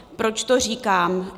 Proč to říkám?